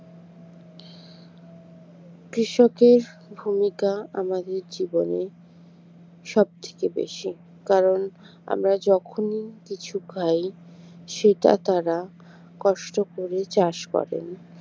কৃষকের ভূমিকা আমাদের জীবনে সবথেকে বেশি কারণ আমরা যখনই কিছু খাই সেটা তারা কষ্ট করে চাষ করেন